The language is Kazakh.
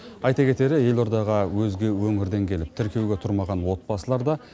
айта кетері елордаға өзге өңірден келіп тіркеуге тұрмаған отбасылар да